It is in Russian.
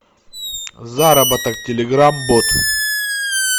заработок телеграм бот